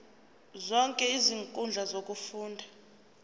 zonke izinkundla zokufunda